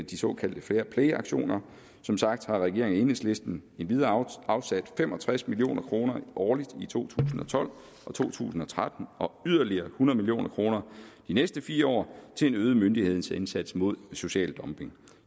de såkaldte fairplayaktioner som sagt har regeringen og enhedslisten endvidere afsat fem og tres million kroner årligt i to tusind og tolv og to tusind og tretten og yderligere hundrede million kroner de næste fire år til en øget myndighedsindsats mod social dumping